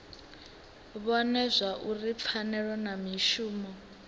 vhone zwauri pfanelo na mishumo